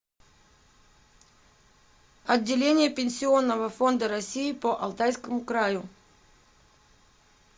отделение пенсионного фонда россии по алтайскому краю